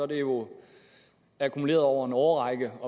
det jo er akkumuleret over en årrække